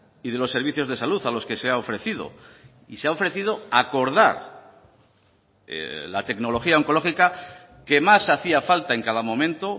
y de los servicios de salud a los que se ha ofrecido y se ha ofrecido acordar la tecnología oncológica que más hacía falta en cada momento